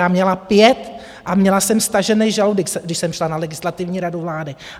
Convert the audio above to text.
Já měla 5 a měla jsem stažený žaludek, když jsem šla na Legislativní radu vlády.